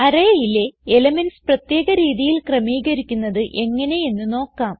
Arrayയിലെ elements പ്രത്യേക രീതിയിൽ ക്രമീകരിക്കുന്നത് എങ്ങനെ എന്ന് നോക്കാം